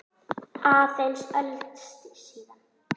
Aðeins öld síðar.